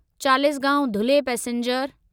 Chalisgaon Dhule passenger